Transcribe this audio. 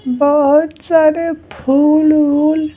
बहुत सारे फूल-वोल--